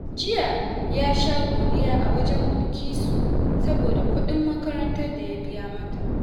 Jiya ya sha godiya a wajen Bilkisu saboda kuɗin makarantar da ya biya mata